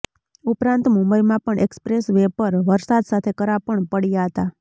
ઉપરાંત મુંબઈમાં પણ એક્સપ્રેસ વે પર વરસાદ સાથે કરા પણ પડ્યા હતા